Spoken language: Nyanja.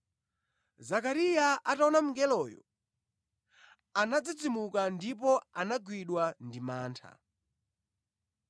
Zakariya ataona mngeloyo, anadzidzimuka ndipo anagwidwa ndi mantha.